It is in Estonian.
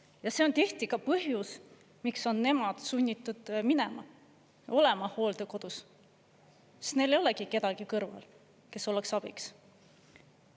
Ja see on tihti ka põhjus, miks on nemad sunnitud minema ja olema hooldekodus, sest neil ei olegi kedagi kõrval, kes oleks abiks.